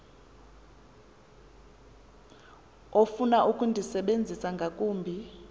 ofuna ukundisebenzisa ngakumbi